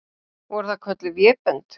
Voru það kölluð vébönd.